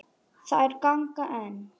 Þær ganga enn.